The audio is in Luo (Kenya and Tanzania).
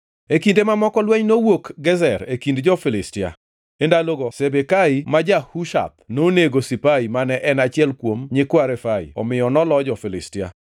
E kinde mamoko lweny nowuok Gezer e kindgi gi jo-Filistia. E ndalogo Sibekai ma ja-Hushath nonego Sipai mane en achiel kuom nyikwa Refai omiyo nolo jo-Filistia.